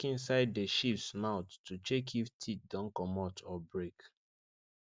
we check inside the sheeps mouth to check if teeth don commot or break